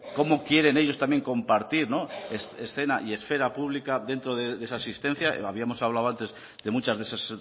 cómo quieren ellos también compartir escena y esfera pública dentro de esa asistencia habíamos hablado antes de muchas de esas